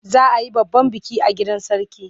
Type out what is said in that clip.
Za a yi babban biki a gidan Sarki.